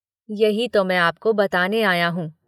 ” “यही तो मैं आपको बताने आया हूं।